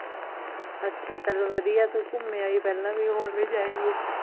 ਅੱਛਾ ਚਲ ਵਧੀਆ ਤੂੰ ਘੁੰਮ ਆਈ ਪਹਿਲਾ ਵੀ, ਹੁਣ ਵੀ ਜਾਏਂਗੀ